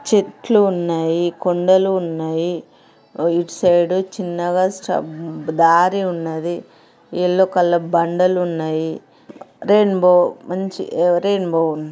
చెట్లు ఉన్నాయి.కొండలు ఉన్నాయి. ఇటుసైడు చిన్నగా సబ్బు ఉంది. దారి ఉన్నది. ఎల్లో కలర్ దండలు ఉన్నాయి ఉ రెయిన్బో మంచి ఆ-రెయిన్బో ఉం--ఉంది.